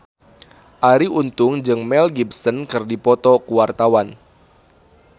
Arie Untung jeung Mel Gibson keur dipoto ku wartawan